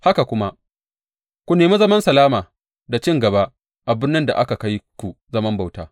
Haka kuma, ku nemi zaman salama da cin gaba a birnin da aka kai ku zaman bauta.